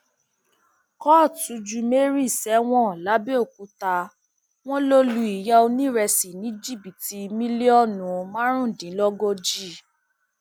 kóòtù ju mary sẹwọn làbẹọkútà wọn lọ lu ìyá onírésì ní jìbìtì mílíọnù márùndínlógójì